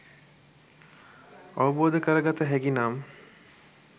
අවබෝධ කරගත හැකි නම්